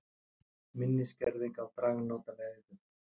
Minni skerðing á dragnótaveiðum